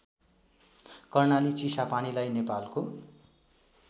कर्णाली चिसापानीलाई नेपालको